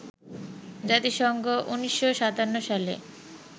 জাতিসংঘ ১৯৫৭ সালে